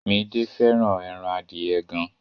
Midé fẹ́ràn ẹran adìẹ gan.